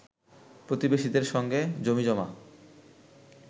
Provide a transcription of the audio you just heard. প্রতিবেশীদের সঙ্গে জমিজমা